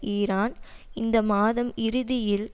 Iran இந்த மாதம் இறுதியில்